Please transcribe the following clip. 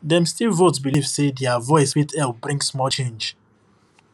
dem still vote believe say their voice fit help bring small change